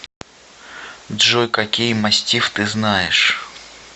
джой какие мастифф ты знаешь